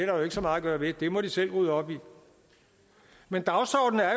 jo ikke så meget at gøre ved det må de selv rydde op i men dagsordenen er